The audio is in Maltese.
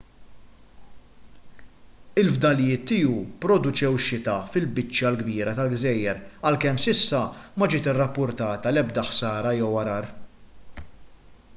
il-fdalijiet tiegħu pproduċew xita fil-biċċa l-kbira tal-gżejjer għalkemm s'issa ma ġiet irrappurtata l-ebda ħsara jew għargħar